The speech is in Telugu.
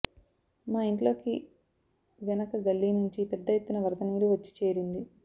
మా ఇంట్లోకి వెనక గల్లి నుంచి పెద్ద ఎత్తున వరద నీరు వచ్చి చేరింది